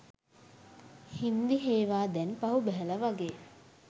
හින්දි හේවා දැන් පහු බැහැල වගේ